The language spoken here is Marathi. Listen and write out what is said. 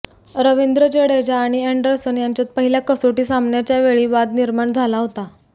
रवींद्र जडेजा आणि अॅंडरसन यांच्यात पहिल्या कसोटी सामन्याच्यावेळी वाद निर्माण झाला होता